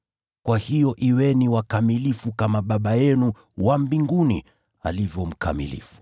Kwa hiyo kuweni wakamilifu kama Baba yenu wa mbinguni alivyo mkamilifu.